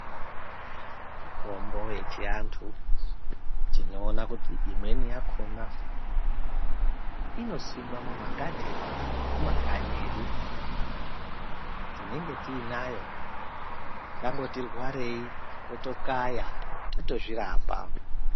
Mitombo yechiantu tinoone kuti imweni yakhona inosimwe mumagadheni ekumakanyi edu. Tinenge tiinayo, tangoti rwarei totokaya tozvirapa.